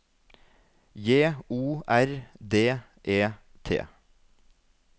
J O R D E T